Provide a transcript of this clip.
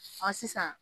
Ɔ sisan